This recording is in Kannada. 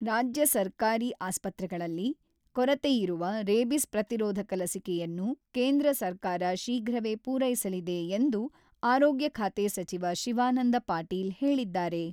ರಾಜ್ಯ ಸರ್ಕಾರಿ ಆಸ್ಪತ್ರೆಗಳಲ್ಲಿ ಕೊರತೆಯಿರುವ, ರೇಬಿಸ್ ಪ್ರತಿರೋಧಕ ಲಸಿಕೆಯನ್ನು ಕೇಂದ್ರ ಸರ್ಕಾರ ಶೀಘ್ರವೇ ಪೂರೈಸಲಿದೆ ಎಂದು ಆರೋಗ್ಯ ಖಾತೆ ಸಚಿವ ಶಿವಾನಂದ ಪಾಟೀಲ್ ಹೇಳಿದ್ದಾರೆ.